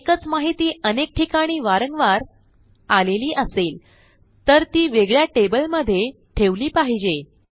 एकच माहिती अनेक ठिकाणी वारंवार आलेली असेल तर ती वेगळ्या टेबल मध्ये ठेवली पाहिजे